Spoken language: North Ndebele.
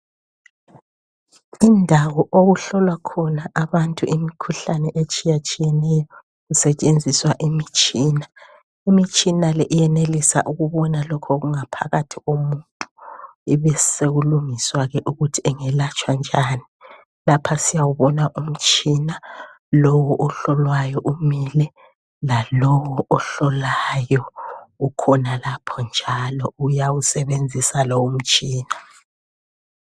Indawo okuhlolwa khona abantu imikhuhlane etshiyatshiyeneyo kusetshenziswa imitshina. Imitshina le iyenelisa ukubona lokho okungaphakathi komuntu, kubesekulungiswa ke ukuthi engelatshwa njani. Lapha siyawubona umtshina lowu, ohlolwayo umile, lalawo ohlolayo ukhona lapho njalo uyawusebenzisa lowu mtshina.